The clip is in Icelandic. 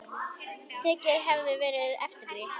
Tekið hefði verið eftir því.